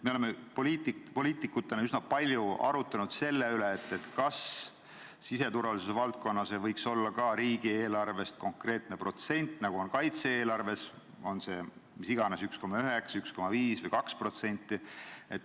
Me oleme poliitikutena üsna palju arutanud selle üle, kas ka siseturvalisuse valdkonnale ei võiks olla riigieelarvest ette nähtud konkreetne protsent, nagu on kaitse-eelarve puhul, oleks see siis mis iganes, 1,9%, 1,5% või 2%.